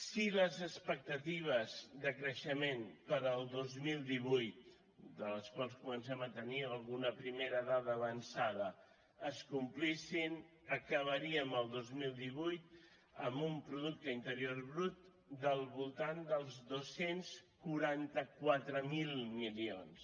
si les expectatives de creixement per al dos mil divuit de les quals comencem a tenir alguna primera dada avançada es complissin acabaríem el dos mil divuit amb un producte interior brut del voltant dels dos cents i quaranta quatre mil milions